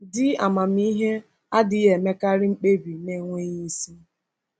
Di amamihe adịghị emekarị mkpebi n’enweghị isi.